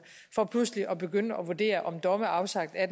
for pludselig at begynde at vurdere om domme afsagt af